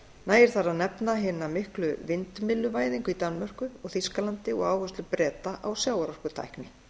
nægir þar að nefna hina miklu vindmylluvæðingu í danmörku og þýskalandi og áherslu breta á sjávarorkutækni